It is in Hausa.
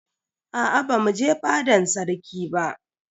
Aa bamu je fadan sarki ba.